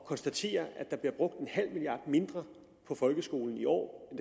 konstatere at der bliver brugt en halv milliard mindre på folkeskolen i år